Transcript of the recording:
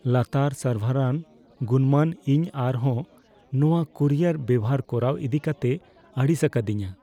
ᱞᱟᱛᱟᱨ ᱥᱟᱨᱵᱷᱟᱨᱟᱱ ᱜᱩᱱᱢᱟᱱ ᱤᱧ ᱟᱨ ᱦᱚᱸ ᱱᱚᱣᱟ ᱠᱩᱨᱤᱭᱟᱨ ᱵᱮᱣᱦᱟᱨ ᱠᱚᱨᱟᱣ ᱤᱫᱤ ᱠᱟᱛᱮᱭ ᱟᱹᱲᱤᱥ ᱟᱠᱟᱫᱤᱧᱟᱹ ᱾